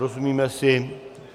Rozumíme si?